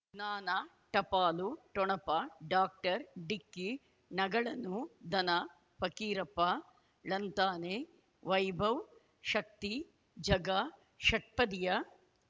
ಜ್ಞಾನ ಟಪಾಲು ಠೊಣಪ ಡಾಕ್ಟರ್ ಢಿಕ್ಕಿ ಣಗಳನು ಧನ ಫಕೀರಪ್ಪ ಳಂತಾನೆ ವೈಭವ್ ಶಕ್ತಿ ಝಗಾ ಷಟ್ಪದಿಯ